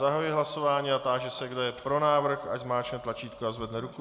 Zahajuji hlasování a táži se, kdo je pro návrh, ať zmáčkne tlačítko a zvedne ruku.